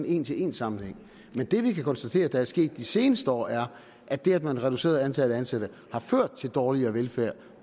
en til en sammenhæng men det vi kan konstatere der er sket de seneste år er at det at man har reduceret antallet af ansatte har ført til dårligere velfærd